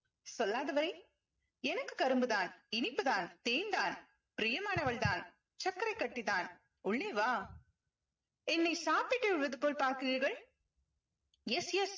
சொல்லாத எனக்கு கரும்புதான், இனிப்புதான், தேன்தான் பிரியமானவள்தான் சர்க்கரைக்கட்டிதான் உள்ளே வா என்னை சாப்பிட்டு விடுவது போல் பார்க்கிறீர்கள் yes yes